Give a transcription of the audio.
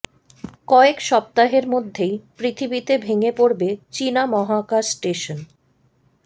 কয়েক সপ্তাহের মধ্যেই পৃথিবীতে ভেঙে পড়বে চিনা মহাকাশ স্টেশন